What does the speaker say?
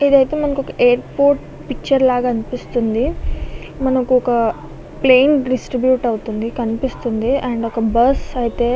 ఇదైతే మనకి ఒక ఎయిర్పోర్ట్ పిక్చర్ లాగా అనిపిస్తుంది. మనకొక ప్లేన్ డిస్ట్రిబ్యూట్ అవుతుంది. కనిపిస్తుంది.అండ్ ఒక బస్సు ఐతే--